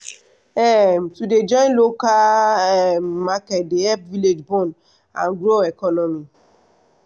um to dey join local um market dey help village bond and grow economy.